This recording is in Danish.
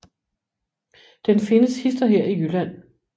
Den findes hist og her i Jylland